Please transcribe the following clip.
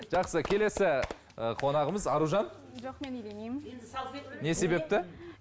жақсы келесі ы конағымыз аружан жоқ мен илемеймін не себепті